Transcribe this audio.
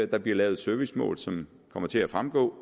der bliver lavet et servicemål som vil komme til at fremgå